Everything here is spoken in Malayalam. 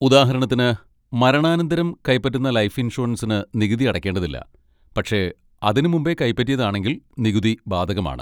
ഉദാഹരണത്തിന്, മരണാനന്തരം കൈപ്പറ്റുന്ന ലൈഫ് ഇൻഷുറൻസിന് നികുതി അടക്കേണ്ടതില്ല, പക്ഷെ അതിന് മുമ്പേ കൈപറ്റിയതാണെങ്കിൽ നികുതി ബാധകമാണ്.